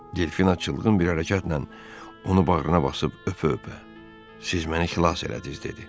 Delfina çılğın bir hərəkətlə onu bağrına basıb öpə-öpə: "Siz məni xilas elədiz" dedi.